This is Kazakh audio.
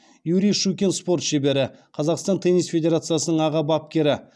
юрий щукин спорт шебері қазақстан теннис федерациясының аға бапкері